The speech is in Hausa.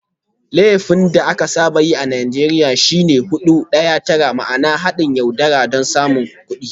Laifin da aka saba yi a Najeriya shi ne "Hudu Daya Tara" ma'ana "Haɗin yaudara don samun kuɗi.